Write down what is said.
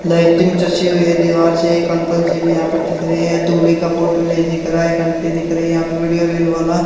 lighting हुई है दीवार से एक अंकल जी भी यहां पर दिख रहे हैं दूल्हे का फोटो नहीं दिख रहा है एक अंटी दिख रही यहा पे वीडियो रील वाला--